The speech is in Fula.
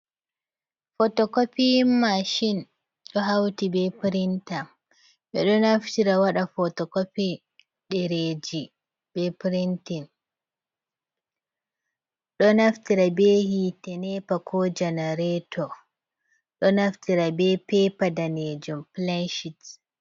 Fotokopiyin mashin, do hauti be pirinta ɓeɗo naftira wada fotokopiyin ɗereji be pirintin, do naftira be hite nepa ko janareto, ɗo naftira be pepa danejom pilenshit.